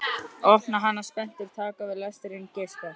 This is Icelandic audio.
Opna hana spenntur, taka til við lesturinn, geispa.